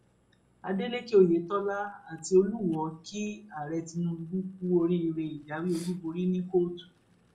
adélèkẹ oyetola àti olùwòo kí ààrẹ tinubu kú oríire ìjáwé olúborí ní kóòtù